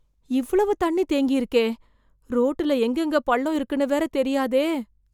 இவ்வளவு தண்ணி தேங்கியிருக்கே! ரோட்டுல எங்கெங்க பள்ளம் இருக்கும்னு வேற தெரியாதே!